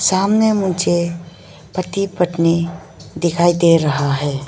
सामने मुझे पति पत्नी दिखाई दे रहा है।